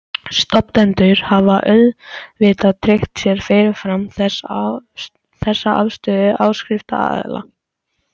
Stofnendur hafa auðvitað tryggt sér fyrirfram þessa afstöðu áskriftaraðila.